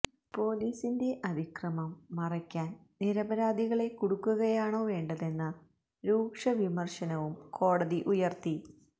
പൊലീസിന്റെ അതിക്രമം മറയ്ക്കാന് നിരപരാധികളെ കുടുക്കുകയാണോ വേണ്ടതെന്ന രൂക്ഷവിമര്ശനവും കോടതി ഉയര്ത്തി